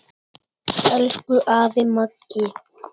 Elsku afi Maggi.